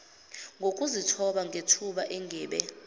ngokuzithoba ngethuba engibe